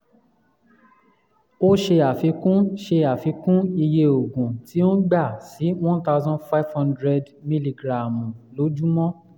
ó ṣe àfikún ṣe àfikún iye oògùn tí ó ń gbà sí one thousand five hundred mìlígíráàmù lójúmọ́